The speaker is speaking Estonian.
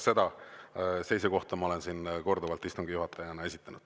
Seda seisukohta ma olen siin istungi juhatajana korduvalt esitanud.